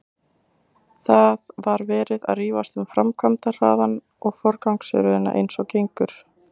Það var verið að rífast um framkvæmdahraðann og forgangsröðina eins og gengur.